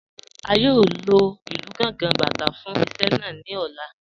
A yóò lọ ilú Gàngà, Bátà fún iṣẹ̀ naa ní ọ̀lá.